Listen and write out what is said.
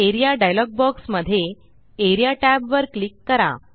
A R E A dialog box मध्ये A R E A tab वर click करा